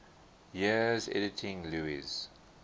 years editing lewes's